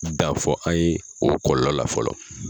Dan fɔ an ye o kɔlɔlɔ la fɔlɔ.